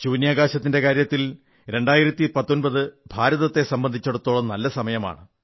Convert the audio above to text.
ബഹിരാകാശത്തിന്റെ കാര്യത്തിൽ 2019 ഭാരതത്തെ സംബന്ധിച്ചിടത്തോളം നല്ല വർഷമാണ്